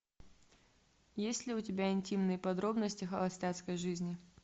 есть ли у тебя интимные подробности холостяцкой жизни